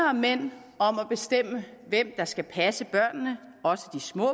og mænd om at bestemme hvem der skal passe børnene også de små